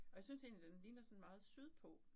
Og jeg synes egentlig den ligner sådan meget sydpå